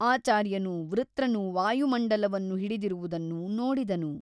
ಆಚಾರ್ಯನು ವೃತ್ರನು ವಾಯುಮಂಡಲವನ್ನು ಹಿಡಿದಿರುವುದನ್ನು ನೋಡಿದನು.